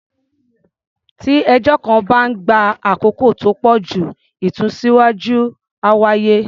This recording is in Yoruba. Tí ẹjọ́ kan bá ń gba àkókò tó pọ̀ jù, ìsúnsíwá́jú á wáyé.